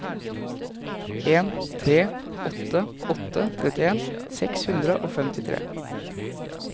en tre åtte åtte trettien seks hundre og femtitre